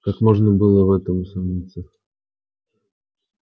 как можно было в этом усомниться